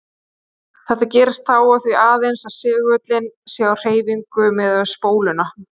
Þetta gerist þá og því aðeins að segullinn sé á hreyfingu miðað við spóluna.